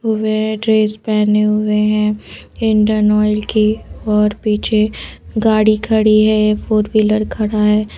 वे dress पहने हुए हैं इंडियन ऑयल की और पीछे गाड़ी खड़ी है फोर व्हीलर खड़ा है।